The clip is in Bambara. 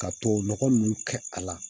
Ka tubabu nɔgɔ nunnu kɛ a la